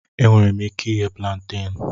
Enwere m ike ighe púlanténú